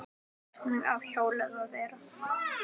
Artist fólks Hvíta.